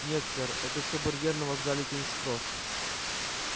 нет сэр это все барьер на вокзале кингс-кросс